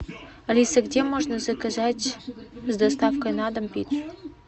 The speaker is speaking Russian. алиса где можно заказать с доставкой на дом пиццу